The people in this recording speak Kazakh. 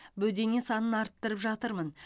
бөдене санын арттырып жатырмын